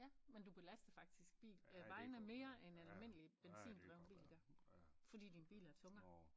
Ja men du belaster faktisk bil øh vejene mere end en almindelig benzindreven bil gør fordi din bil er tungere